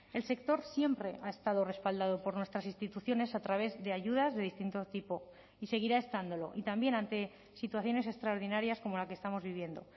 el sector siempre ha estado respaldado por nuestras instituciones a través de ayudas de distinto tipo y seguirá estándolo y también ante situaciones extraordinarias como la que estamos viviendo